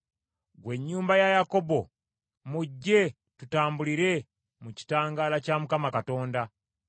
Ggwe ennyumba ya Yakobo, mujje tutambulire mu kitangaala kya Mukama Katonda.